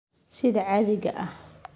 Sida caadiga ah.